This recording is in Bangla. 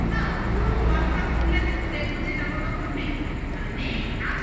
না, পুরো ward drop খুলে দেখবো যে জামাকাপড় নেই মানে নেই, আছে